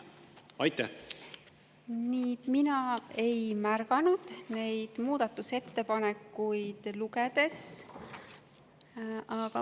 Mina ei märganud lugedes neid muudatusettepanekuid.